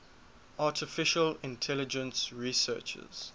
artificial intelligence researchers